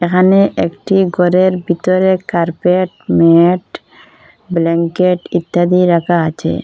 এখানে একটি ঘরের ভিতরে কার্পেট ম্যাট ব্ল্যাঙ্কেট ইত্যাদি রাখা আছে।